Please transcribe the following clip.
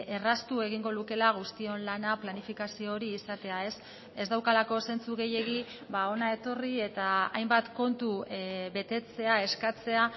erraztu egingo lukela guztion lana planifikazio hori izatea ez daukalako zentzu gehiegi hona etorri eta hainbat kontu betetzea eskatzea